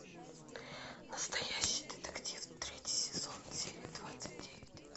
настоящий детектив третий сезон серия двадцать девять